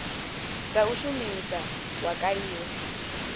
dza u shumisa wa kaliwa